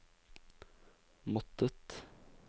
måttet